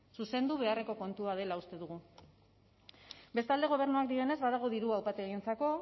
zuzendu beharreko kontua dela uste dugu bestalde gobernuak dioenez badago dirua upategientzako